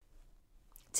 TV 2